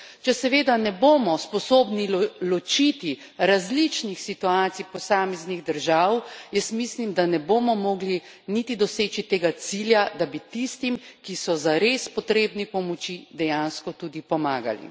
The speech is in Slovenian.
Če seveda ne bomo sposobni ločiti različnih situacij posameznih držav, jaz mislim, da ne bomo mogli niti doseči tega cilja, da bi tistim, ki so zares potrebni pomoči, dejansko tudi pomagali.